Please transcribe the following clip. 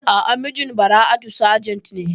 A'a, mijin Bara'atu sajent ne.